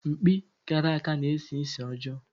Mkpi karaka na-esi ísì ọjọọ.